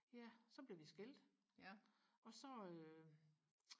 ja så blev vi skilt og så øh